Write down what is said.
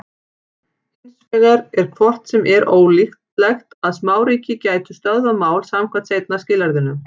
Hins vegar er hvort sem er ólíklegt að smáríki gætu stöðvað mál samkvæmt seinna skilyrðinu.